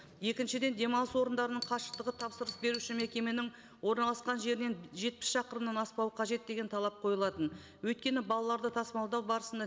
екіншіден демалыс орындарының қашықтығы тапсырыс беруші мекеменің орналасқан жерінен жетпіс шақырымнан аспауы қажет деген талап қойылатын өйткені балаларды тасымалдау барысында